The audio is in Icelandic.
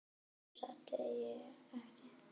Samt óttast ég ekki.